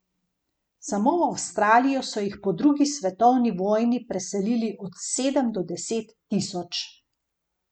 Samo v Avstralijo so jih po drugi svetovni vojni preselili od sedem do deset tisoč.